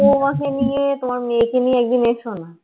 তোমার বৌমাকে নিয়ে তোমার মেয়েকে নিয়ে একদিন এসো না